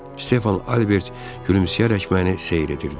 Stefan Albert gülümsəyərək məni seyr edirdi.